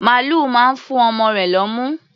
Màlúù máa ń fú ọmọ rẹ̀ lọ́mú.